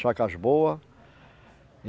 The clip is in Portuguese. Chácaras boas.